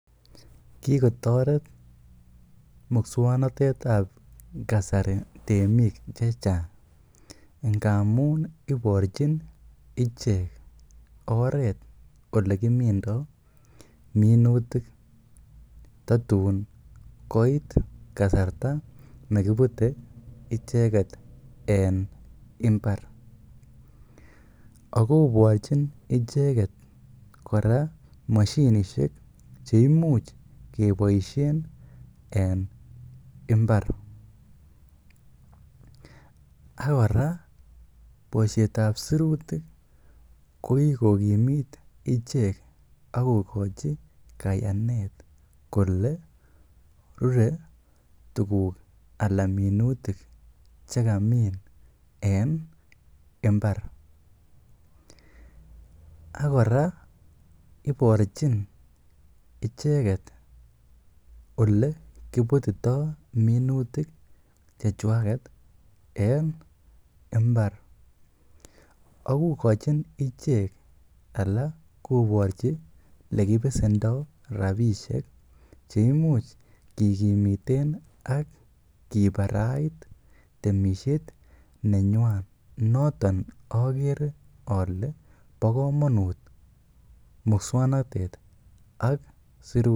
Kikotoret muswoknotetab kasari temik chechang ingamun iborchin ichek oreet olekimindo minutik totun koit kasarta nekibute icheket en imbar, ak kokochin icheket kora moshinishek cheimuch keboishen en imbar, ak kora boishetab sirutik ko kikokimit ichek ak kokochi kayanet kolee rure tukuk alaa minutik chekamin en imbar, ak kora iborchin icheket olee kibutito minutik chechwaket en mbar ak ko kokochin ichek alaa koborchi elekibesendo rabishek cheimuch kikimiten ak kibarait temishet nenywan noton okere olee bokomonut muswoknotet ak sirutik.